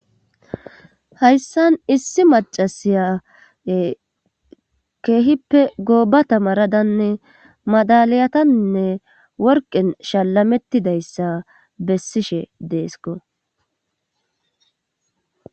Hayssan issi macasiya keehippe gooba ta maradanne madaliyatanne worqen shalamettidayssa bessishe deesko.